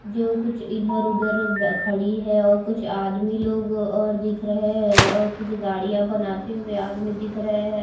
जो कुछ इधर-उधर ब खड़ी है और कुछ आदमी लोग और दिख रहे है और कुछ गाड़ियाँ बनाते हुए आदमी दिख रहे है।